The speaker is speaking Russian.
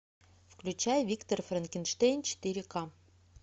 включай виктор франкенштейн четыре ка